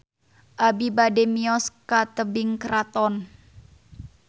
Abi bade mios ka Tebing Keraton